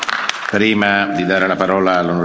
Prima di dare la parola all'on.